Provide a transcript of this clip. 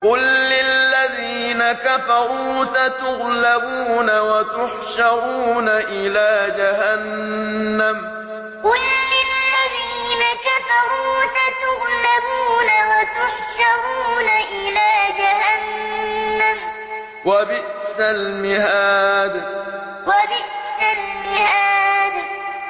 قُل لِّلَّذِينَ كَفَرُوا سَتُغْلَبُونَ وَتُحْشَرُونَ إِلَىٰ جَهَنَّمَ ۚ وَبِئْسَ الْمِهَادُ قُل لِّلَّذِينَ كَفَرُوا سَتُغْلَبُونَ وَتُحْشَرُونَ إِلَىٰ جَهَنَّمَ ۚ وَبِئْسَ الْمِهَادُ